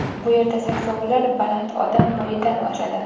Bu yerda saksovullar baland odam bo‘yidan oshadi.